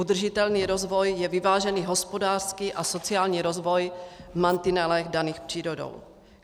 Udržitelný rozvoj je vyvážený hospodářsky a sociální rozvoj v mantinelech daných přírodou.